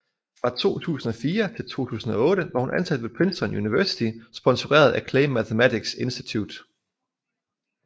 Fra 2004 til 2008 var hun ansat ved Princeton University sponseret af Clay Mathematics Institute